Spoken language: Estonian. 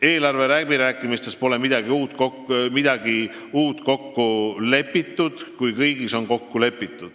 Eelarvekõnelustes pole midagi uut kokku lepitud.